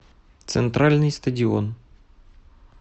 центральный стадион